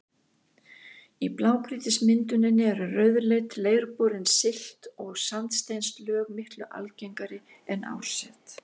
Í blágrýtismynduninni eru rauðleit, leirborin silt- og sandsteinslög miklu algengari en árset.